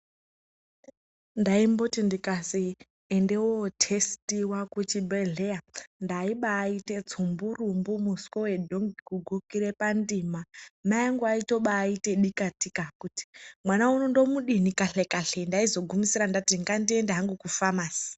Ndaimboti ndikazwi ende wotestiwa kuchibhehlera ndaibaaite tsumburumbu muswe wedhongi, kugukire pandima. Mai anguaitobaite dikatika kuti mwana uno ndomudini kahle kahle. Ndaizogumisira ndati ngandiende hangu kufamasi.